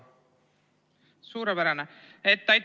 Suurepärane!